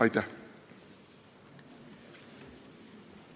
Aitäh!